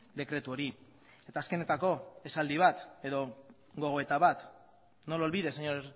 dekretu hori eta azkenetako esaldi bat edo gogoeta bat no lo olvides señor